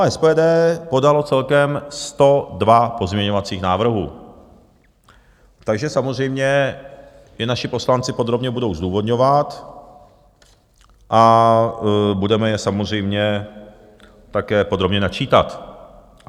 A SPD podalo celkem 102 pozměňovacích návrhů, takže samozřejmě je naši poslanci podrobně budou zdůvodňovat a budeme je samozřejmě také podrobně načítat.